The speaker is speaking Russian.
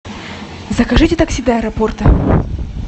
закажите такси до аэропорта